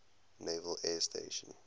naval air station